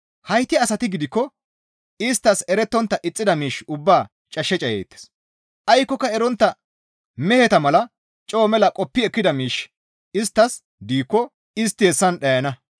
Hayti asati gidikko isttas erettontta ixxida miish ubbaa cash cayeettes; aykkoka erontta meheta mala coo mela qoppi ekkida miishshi isttas diikko istti hessan dhayana.